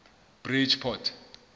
bridgeport